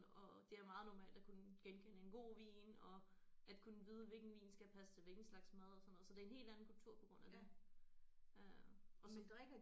Og det er meget normalt at kunne genkende en god vin og at kunne vide hvilken vin skal passe til hvilken slags mad og sådan noget så det er en helt anden kultur på grund af det øh og så